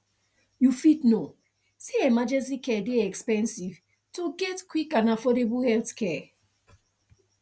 you fit know say emergency care dey expensive to get quick and affordable healthcare